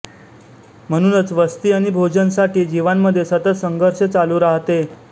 म्हणूनच वस्ती आणि भोजन साठी जीवांमध्ये सतत संघर्ष चालू राहते